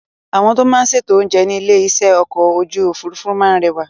Àwọn tó máa ń ṣètò oúnjẹ ní ilé-iṣẹ́ ọkọ̀ ojú òfuurufú máa ń rẹwà.